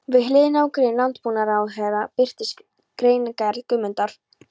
Við hliðina á grein landbúnaðarráðherra birtist greinargerð Guðmundar